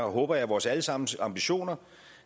og håber jeg vores alle sammens ambitioner